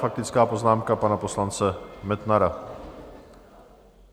Faktická poznámka pana poslance Metnara.